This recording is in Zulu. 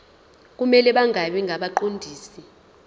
kumele bangabi ngabaqondisi